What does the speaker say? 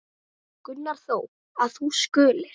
Gunnar þó, að þú skulir.